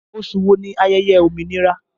Oṣù wo ni ayẹyẹ òmìnira?